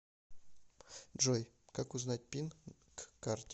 джой как узнать пин к карте